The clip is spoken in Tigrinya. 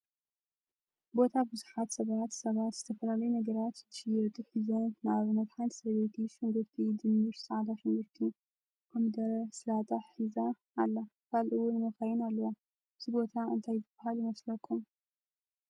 ቦታ ቡዝሓት ሰባት ሰባት ዝተፈላለዩ ነገራት ዝሽየጡ ሒዞም ንአብነት ሓንቲ ሰበይቲ ሽንጉርቲ ፣ድንሽ፣ ፃዕዳ ሽንጉርቲ ፤ኮሚደረ፤ ሳላጣ ሒዛ አላ ካልእ እዉን መካይን አለዋ። እዚ ቦታ እንታይ ዝባሃል ይመስለኩም?